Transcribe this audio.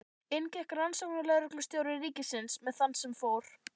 Inn gekk rannsóknarlögreglustjóri ríkisins með þann sem fór.